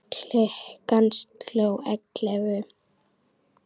Klukkan sló ellefu.